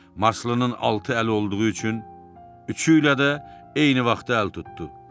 Marslının altı əli olduğu üçün üçü ilə də eyni vaxtda əl tutdu.